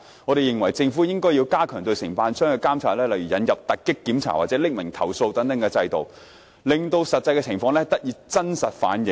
我們認為，政府應加強對承辦商的監察，例如引入突擊檢查或匿名投訴等制度，令實際情況得以真實反映。